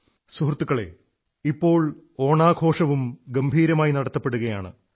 സുഹൃത്തുക്കളേ ഇപ്പോൾ ഓണാഘോഷവും ഗംഭീരമായി നടത്തപ്പെടുകയാണ്